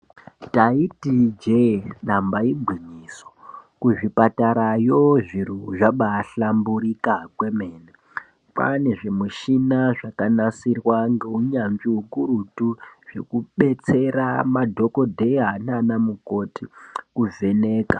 Ndaiti ijee damba igwinyiso kuzvipatarayo zviro zvabaahlamburika kwemene kwaane zvimushina zvakanasirwa ngeunyanzvi ukurutu zvekudetsera madhokodheya nana mukoti kuvheneka.